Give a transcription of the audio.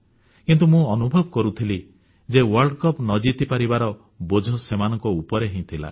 କିନ୍ତୁ ମୁଁ ଅନୁଭବ କରୁଥିଲି ଯେ ୱର୍ଲ୍ଡ କପ୍ ନ ଜିତିପାରିବାର ବୋଝ ସେମାନଙ୍କ ଉପରେ ଥିଲା